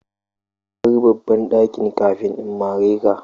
Ka bar babban dakin kafin in mare ka.